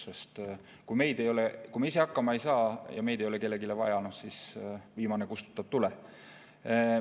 Sest kui me ise hakkama ei saa ja meid ei ole kellelegi vaja, siis viimane kustutab tule.